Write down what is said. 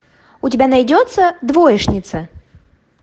у тебя найдется двоечница